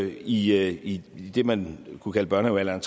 i i det man kunne kalde børnehavealderen